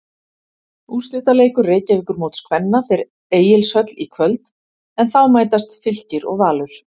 Úrslitaleikur Reykjavíkurmóts kvenna fer Egilshöll í kvöld en þá mætast Fylkir og Valur.